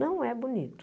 Não é bonito.